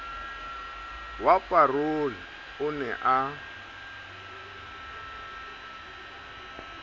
wa parole o ne o